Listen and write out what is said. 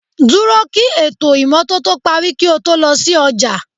Dúró kí ètò ìmọ́tótó parí kí o tó lọ sí ọjà